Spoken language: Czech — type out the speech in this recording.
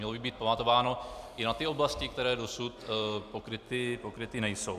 Mělo by být pamatováno i na ty oblasti, které dosud pokryty nejsou.